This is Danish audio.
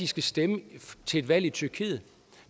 skal stemme til valg i tyrkiet